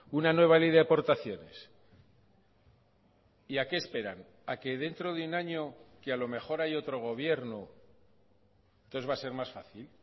una nueva ley de aportaciones y a qué esperan a que dentro de un año que a lo mejor hay otro gobierno entonces va a ser más fácil